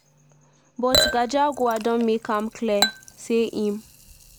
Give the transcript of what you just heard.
but gachagua don make am clear say im